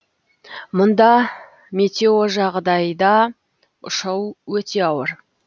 мұнда метеожағдайда ұшу өте ауыр